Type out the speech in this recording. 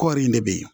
Kɔɔri in de bɛ yen